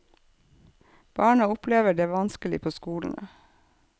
Barna opplever det vanskelig på skolene.